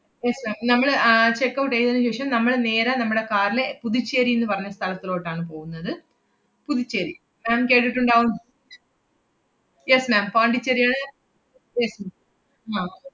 yes ma'am നമ്മള് ആഹ് checkout എയ്‌തേനു ശേഷം നമ്മള് നേരെ നമ്മടെ car ല് പുതുച്ചേരീന്ന് പറഞ്ഞ സ്ഥലത്തിലോട്ടാണ് പോവുന്നത്. പുതുച്ചേരി ma'am കേട്ടിട്ടുണ്ടാവും. yes ma'am പോണ്ടിച്ചേരിടെ yes ma'am അഹ്